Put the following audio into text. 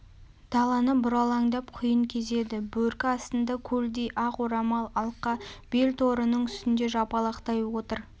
даланы бұралаңдап құйын кезеді бөркі астында көлдей ақ орамал алқа бел торының үстінде жапалақтай отыр